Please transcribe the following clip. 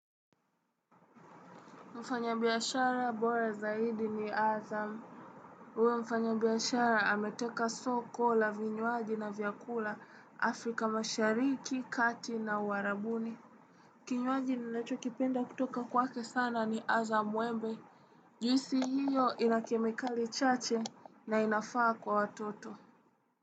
Mfanyabiashara bora zaidi ni Azam. Kuwa mfanyabiashara ameteka soko la vinywaji na vyakula Afrika mashariki, kati na uarabuni. Kinywaji ninachokipenda kutoka kwake sana ni Azam wembe. Juisi hiyo ina kemikali chache na inafaa kwa watoto.